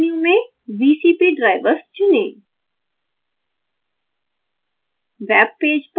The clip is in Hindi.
ड्राप डाउन मेन्यु में vcp drivers चुनें